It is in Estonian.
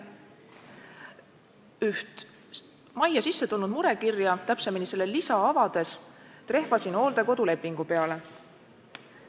Üht majja sisse tulnud murekirja, täpsemini selle lisa avades trehvasin hooldekodulepingu peale.